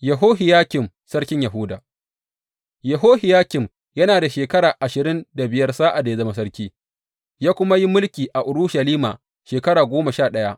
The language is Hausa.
Yehohiyakim sarkin Yahuda Yehohiyakim yana da shekara ashirin da biyar sa’ad da ya zama sarki, ya kuma yi mulki a Urushalima shekara goma sha ɗaya.